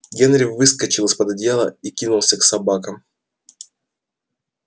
генри выскочил из под одеяла и кинулся к собакам